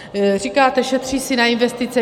Říkáte - šetří se na investice.